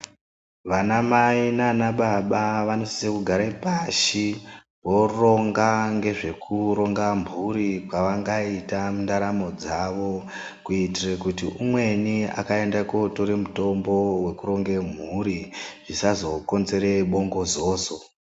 Vanamai nanababa vanosise kugara pashi voronga ngezvekuronga mhuri kwavangaite mundaramo dzawo kuitire kuti umweni akaende kotore mutombo wekuronge mhuri zvisazokonzere bongozozo.